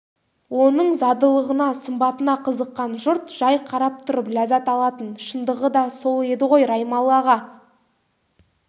оның задылығына сымбатына қызыққан жұрт жай қарап тұрып ләззат алатын шындығы да сол еді ғой раймалы-аға